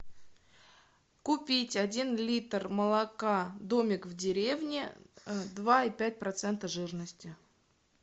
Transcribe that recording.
купить один литр молока домик в деревне два и пять процента жирности